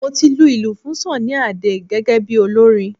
Mo ti lu ilù fún Sunny Adé gẹ́gẹ́ bí olórin